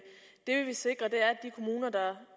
det vi vil sikre